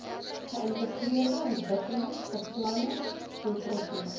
geïntegreerde ontwikkelingsbeplanning doeltreffende